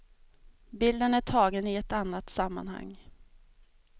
Bilden är tagen i ett annat sammanhang.